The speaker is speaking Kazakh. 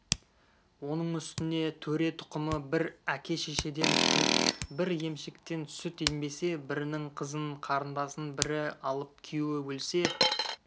оның үстіне төре тұқымы бір әке-шешеден туып бір емшектен сүт ембесе бірінің қызын қарындасын бірі алып күйеуі өлсе